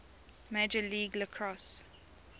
major league lacrosse